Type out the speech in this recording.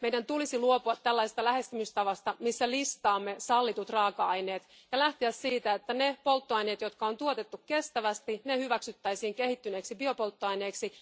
Meidän tulisi luopua lähestymistavasta, missä listaamme sallitut raaka aineet, ja lähteä siitä, että ne polttoaineet, jotka on tuotettu kestävästi, hyväksyttäisiin kehittyneeksi biopolttoaineeksi.